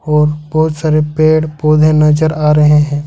और बहोत सारे पेड़ पौधे नजर आ रहे हैं।